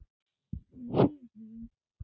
Ég næ þessu ekki.